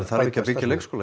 þarf ekki að byggja leikskóla